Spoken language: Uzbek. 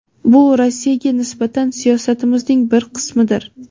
bu Rossiyaga nisbatan siyosatimizning bir qismidir.